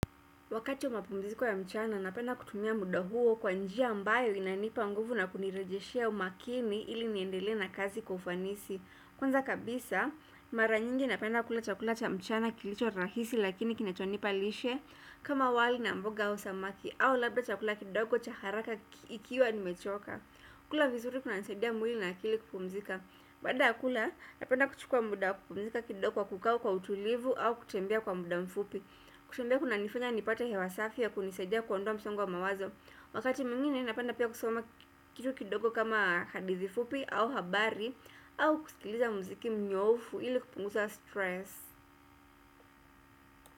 Wakati wa mapumziko ya mchana, napenda kutumia muda huo kwa njia ambayo inanipa nguvu na kunirejeshea umakini ili niendele na kazi kwa ufanisi. Kwanza kabsaa, mara nyinyi napenda kula chakula cha mchana kilicho rahisi lakini kinachonipa lishe, kama wali na mboga au samaki, au labda chakula kidogo cha haraka nkiwa nmechoka. Kula vizuri kuna kunasaidia mwili na akili kupumzika. Baada ya kula, napenda kuchukua muda wa kukumzika kidogo wa kukaa kwa utulivu au kutembea kwa muda mfupi. Kutembea kunanifanya nipate hewa safi ya kunisaidia kuondoa msongo wa mawazo. Wakati mwingine napenda pia kusoma kitu kidogo kama hadithi fupi au habari au kusikiliza mziki mnyoofu ili kupunguza stress.